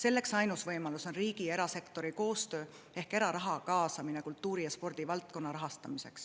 Ainus võimalus selleks on riigi ja erasektori koostöö ehk eraraha kaasamine kultuuri‑ ja spordivaldkonna rahastamisse.